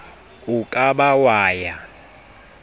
o ka ba wa ya